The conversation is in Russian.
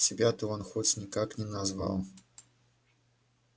тебя-то он хоть никак не назвал